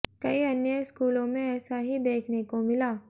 कई अन्य स्कूलों में ऐसा ही देखने को मिला